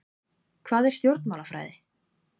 Hvað er stjórnmálafræði?